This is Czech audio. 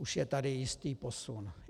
Už je tady jistý posun.